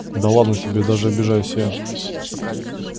да ладно тебе даже обижаюсь я